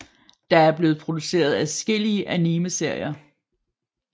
Der er blevet produceret adskillelige animeserier